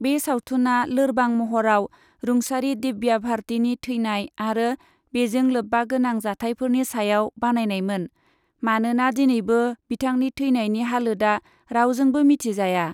बे सावथुनआ लोरबां महराव रुंसारि दिव्या भारतीनि थैनाय आरो बेजों लोब्बागोनां जाथायफोरनि सायाव बानायनायमोन, मानोना दिनैबो बिथांनि थैनायनि हालोदआ रावजोंबो मिथिजाया।